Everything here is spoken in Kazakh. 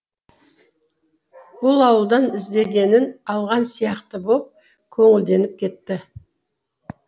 бұл ауылдан іздегенін алған сияқты боп көңілденіп кетті